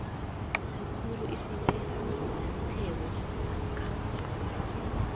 sikhulu esiphetheko namkha